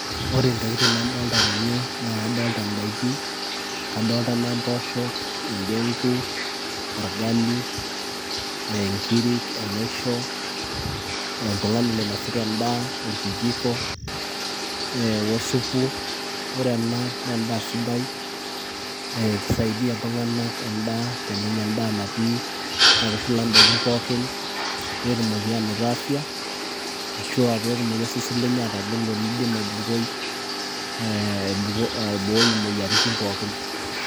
Ore intokiting' nadolta tene, naa adolta indaiki, kadolta na mpoosho, endegu, orgali, nkirik, enaisho, oltung'ani loinasita endaa, orkijiko, eh osupu. Ore ena na endaa sidai, eh kisaidia iltung'anak endaa tenenya endaa natii naitushula idaiki pookin, petumoki anoto afya ,ashua petumoki osesen lenye atagolo neidim aibooi imoyiaritin pookin.